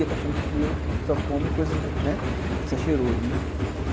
E fica achando que só come coisas, né, que saí cheiroso, né.